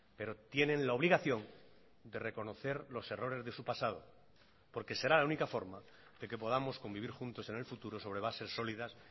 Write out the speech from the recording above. pero tienen la obligación de reconocer los errores de su pasado porque será la única forma de que podamos convivir juntos en el futuro sobre bases sólidas